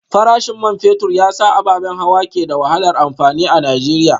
Farashin man fetur ya sa ababen hawa ke da wahalar amfani a Najeriya